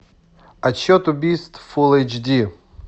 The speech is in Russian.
отсчет убийств фулл эйч ди